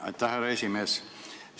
Aitäh, härra esimees!